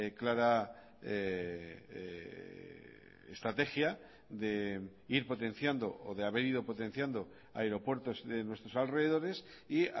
clara estrategia de ir potenciando o de haber ido potenciando aeropuertos de nuestros alrededores y